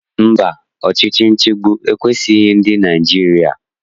Mba, ọchịchị nchịgbu ekwesighị ndị Naịjirịa.